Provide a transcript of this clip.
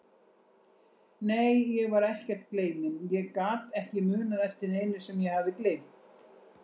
Nei, ég var ekkert gleyminn, ég gat ekki munað eftir neinu sem ég hafði gleymt.